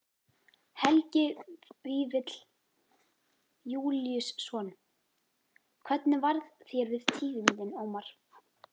Helgi Vífill Júlíusson: Hvernig varð þér við tíðindin, Ómar?